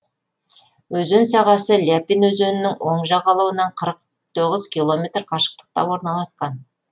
өзен сағасы ляпин өзенінің оң жағалауынан қырық тоғыз километр қашықтықта орналасқан